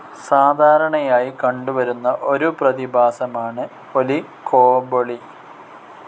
സാധാരണയായി കണ്ടുവരുന്ന ഒരു പ്രതിഭാസമാണ്‌ ഒലിഗോപൊളി.